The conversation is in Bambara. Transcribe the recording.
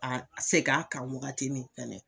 A a sek'a kan wagati min fɛnɛ